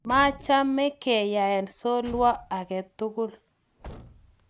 maacham keyeaan solwo age tugul